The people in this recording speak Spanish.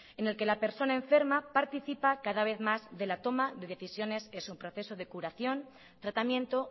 en el que la persona enferma participa cada vez mas de la toma decisiones de su proceso de curación tratamiento